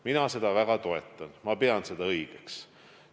Mina seda väga toetan, ma pean seda õigeks.